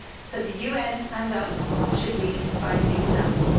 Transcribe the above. So the UN and us should lead by example.